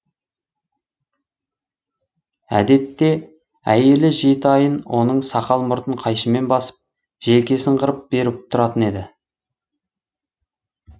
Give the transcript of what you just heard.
әдетте әйелі жеті айын оның сақал мұртын қайшымен басып желкесін қырып беріп тұратын еді